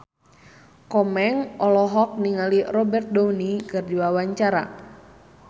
Komeng olohok ningali Robert Downey keur diwawancara